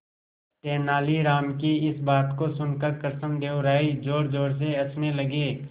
तेनालीराम की इस बात को सुनकर कृष्णदेव राय जोरजोर से हंसने लगे